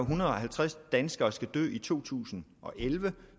hundrede og halvtreds danskere skal dø i to tusind og elleve